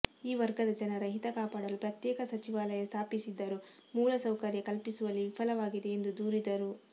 ಈ ವರ್ಗದ ಜನರ ಹಿತ ಕಾಪಾಡಲು ಪ್ರತ್ಯೇಕ ಸಚಿವಾಲಯ ಸ್ಥಾಪಿಸಿದ್ದರೂ ಮೂಲ ಸೌಕರ್ಯ ಕಲ್ಪಿಸುವಲ್ಲಿ ವಿಫಲವಾಗಿದೆ ಎಂದು ದೂರಿದರು